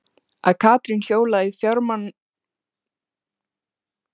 Að Katrín hjólaði í fjármálaráðherrann sinn og krefðist afsagnar hans?